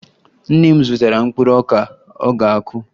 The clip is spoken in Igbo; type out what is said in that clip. Nne m zụtara mkpụrụ ọka ọ ga-akụ